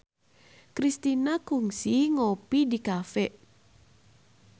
Kristina kungsi ngopi di cafe